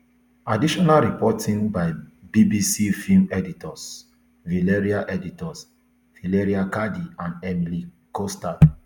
additional reporting by bbc film editors valeria editors valeria cardi and emile costard